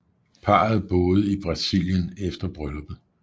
Parret boede i Brasilien efter brylluppet